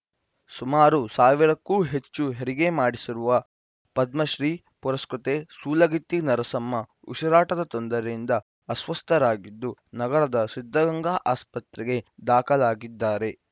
ಸುಮಾರು ಸಾವಿರ ಕ್ಕೂ ಹೆಚ್ಚು ಹೆರಿಗೆ ಮಾಡಿಸಿರುವ ಪದ್ಮಶ್ರೀ ಪುರಸ್ಕೃತೆ ಸೂಲಗಿತ್ತಿ ನರಸಮ್ಮ ಉಸಿರಾಟದ ತೊಂದರೆಯಿಂದ ಅಸ್ವಸ್ಥರಾಗಿದ್ದು ನಗರದ ಸಿದ್ಧಗಂಗಾ ಆಸ್ಪತ್ರೆಗೆ ದಾಖಲಾಗಿದ್ದಾರೆ